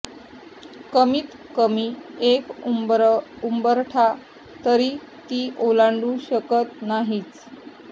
कमीत कमी एक उंबरठा तरी ती ओलांडू शकत नाहीच